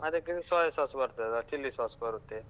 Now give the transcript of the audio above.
ಅದಕ್ಕೆ ಇದು soya sauce ಬರ್ತದ chilli sauce ಬರುತ್ತೆ.